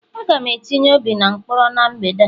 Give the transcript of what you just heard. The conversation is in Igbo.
Aga m etinye obi na mkpọrọ n' mgbede a